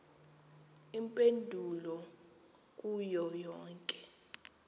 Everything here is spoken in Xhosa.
iimpendulo kuyo yonke